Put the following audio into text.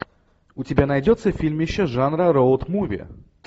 у тебя найдется фильмище жанра роуд муви